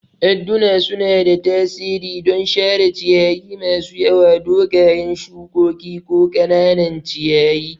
Adduna suna da tasiri don share ciyayi masu yawa, dogayen shukoki, ko ƙananan ciyayi.